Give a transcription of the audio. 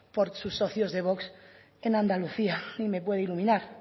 por sus socios de vox en andalucía y me puede iluminar